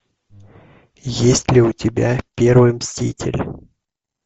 есть ли у тебя первый мститель